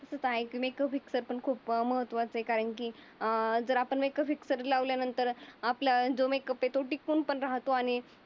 खूप आहे मेकअप कसा तर खूप महत्त्वाचा आहे. कारण की अं जर आपन मेकअपस कधी लावल्या नंतर आपलअ जो मेकअप येतो. टिकून पण राहतो आणि